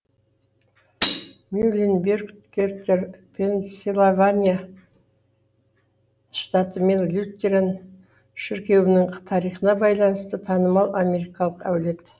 мюлленбергетер пенсильвания штаты мен лютеран шіркеуінің тарихына байланысты танымал америкалық әулет